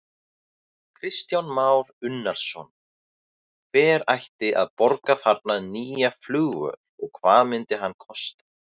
Kristján Már Unnarsson: Hver ætti að borga þarna nýja flugvöll og hvað myndi hann kosta?